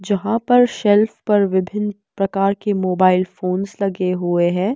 जहाँ पर शेल्फ पर विभिन्न प्रकार के मोबाइल फोंस लगे हुए हैं।